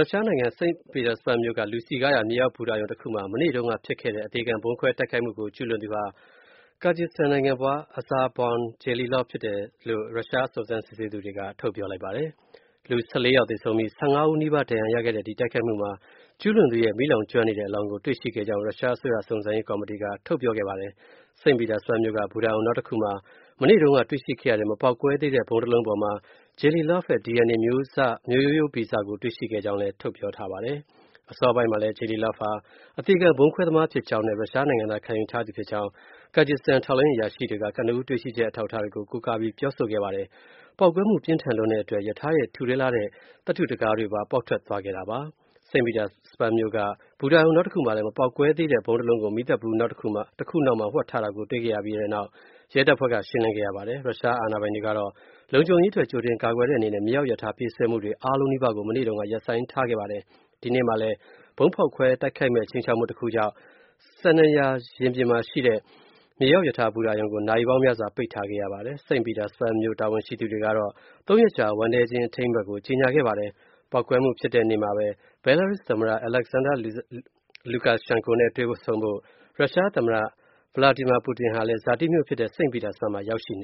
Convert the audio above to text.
ုရှားနိုင်ငံ St. Petersburg မြို့က လူစည်ကားရာ မြေအောက်ဘူတာရုံတခုမှာ မနေ့တုန်းက ဖြစ်ပွားခဲ့တဲ့ အသေခံဗုံးခွဲတိုက်ခိုက်မှုကို ကျုးလွန်သူဟာ Kyrgyzstan နိုင်ငံဖွား Akbarzhon Jalilov ဆိုသူဖြစ်ကြောင်း၊ ရုရှားစုံစမ်းစစ်ဆေးသူတွေက ပြောပါတယ်။ လူ ၁၄ ယောက် သေဆုံးပြီး၊ ၅၀ နီးပါး ဒဏ်ရာရခဲ့တဲ့ တိုက်ခိုက်မှုကို ကျုးလွန်သူရဲ့ မီးလောင်ကျွမ်းနေတဲ့ အလောင်းကို တွေ့ရှိခဲ့ကြောင်း ရုရှားအစိုးရ စုံစမ်းစစ်ဆေးရေး ကော်မတီက ပြောဆိုခဲ့တာပါ။ St. Petersburg မြို့က ဘူတာရုံ နောက်တခုမှာ မနေ့တုန်းက တွေ့ရှိခဲ့ရတဲ့ မပေါက်ကွဲသေးတဲ့ ဗုံးတလုံးပေါ်မှာ Jalilov ရဲ့ DNA မျိုးဗီဇကို တွေ့ရှိခဲ့ကြောင်းလည်း ပြောဆိုခဲ့ပါတယ်။ အစောပိုင်းမှာလည်း Jalilov ဟာ အသေခံဗုံးခွဲသမား ဖြစ်ကြောင်းနဲ့ ရုရှားနိုင်ငံသားခံယူထားသူဖြစ်ကြောင်း Kyrgyzstan ထောက်လှမ်းရေး အရာရှိတွေက ကနဦးတွေ့ရှိချက် အထောက်အထားတွေကို ကိုးကားပြောဆိုခဲ့တာပါ။ ပေါက်ကွဲမှု ပြင်းထန်လွန်းတဲ့အတွက် ရထားရဲ့ထူထဲလှတဲ့ သတ္တုတံခါးတွေပါ ပေါက်ထွက်သွားခဲ့တာပါ။ St. Petersburg မြို့က ဘူတာရုံ နောက်တခုမှာလည်း မပေါက်ကွဲသေးတဲ့ ဗုံးတလုံးကို မီးသတ်ဗူးတခုနောက်မှာ ဝှက်ထားတာကို တွေ့ရှိခဲ့ပြီးနောက် ရဲတပ်ဖွဲ့က ရှင်းလင်းခဲ့ရပါတယ်။ ရုရှားအာဏာပိုင်တွေကတော့ လုံခြုံရေးအတွက် ကြိုတင်ကာကွယ်တဲ့ အနေနဲ့ မြေအောက်ရထား ပြေးဆွဲမှုတွေ အားလုံးနီးပါးကို မနေ့တုန်းက ရပ်ဆိုင်းခဲ့ပါတယ်။ ဒီကနေ့မှာလည်း ဗုံးဖောက်ခွဲ တိုက်ခိုက်မယ့် ခြိမ်းခြောက်မှုတခုကြောင့် Sennaya ရင်ပြင်မှာရှိတဲ့ မြေအောက်ရထားဘူတာရုံကို နာရီပေါင်းများစွာ ပိတ်ထားခဲ့ရတာပါ။ St. Petersburg မြို့ တာဝန်ရှိသူတွေကတော့ ၃ ရက်ကြာ ဝမ်းနည်းခြင်း အထိမ်းအမှတ် ကြေညာခဲ့ပါတယ်။ ပေါက်ကွဲမှုဖြစ်တဲ့ နေ့မှာပဲ Belarus သမ္မတ Alexander Lukashenko နဲ့ တွေ့ဆုံဖို့ ရုရှားသမ္မတ Vladimir Putin ဟာလည်း ဇာတိမြို့ဖြစ်တဲ့ St. Petersburg မှာ ရောက်ရှိန